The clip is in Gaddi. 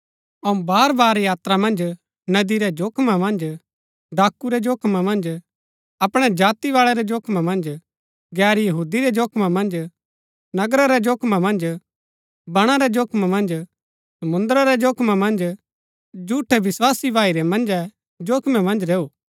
अऊँ बार बार यात्रा मन्ज नदी रै जोखिमा मन्ज डाकू रै जोखिमा मन्ज अपणै जातिबाळै रै जोखिमा मन्ज गैर यहूदी रै जोखिमा मन्ज नगरा रै जोखिमा मन्ज बणा रै जोखिमा मन्ज समुंद्र रै जोखिमा मन्ज झूठै विस्वासी भाई रै मन्जै जोखिमा मन्ज रैऊ